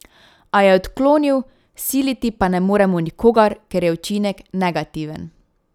A je odklonil, siliti pa ne moremo nikogar, ker je učinek negativen.